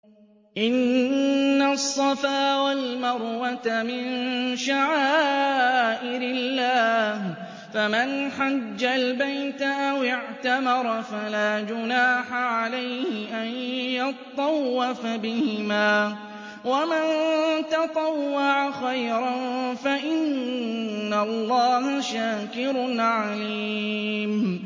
۞ إِنَّ الصَّفَا وَالْمَرْوَةَ مِن شَعَائِرِ اللَّهِ ۖ فَمَنْ حَجَّ الْبَيْتَ أَوِ اعْتَمَرَ فَلَا جُنَاحَ عَلَيْهِ أَن يَطَّوَّفَ بِهِمَا ۚ وَمَن تَطَوَّعَ خَيْرًا فَإِنَّ اللَّهَ شَاكِرٌ عَلِيمٌ